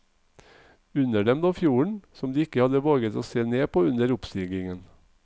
Under dem lå fjorden, som de ikke hadde våget se ned på under oppstigingen.